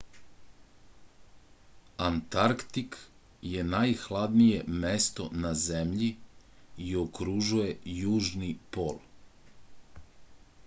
antarktik je najhladnije mesto na zemlji i okružuje južni pol